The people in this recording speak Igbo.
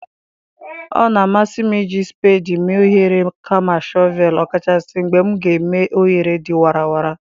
Ọ na-amasị m iji spedii mee oghere kama shọvel, ọkachasị mgbe m ga-eme oghere dị warara.